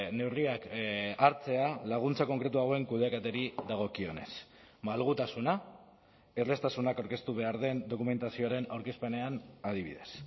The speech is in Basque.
neurriak hartzea laguntza konkretu hauen kudeaketari dagokionez malgutasuna erraztasunak aurkeztu behar den dokumentazioaren aurkezpenean adibidez